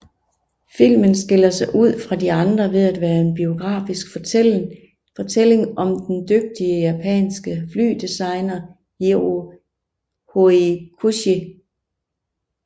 Filmen skiller sig ud fra de andre ved at være en biografisk fortælling om den dygtige japanske flydesigner Jiro Horikoshi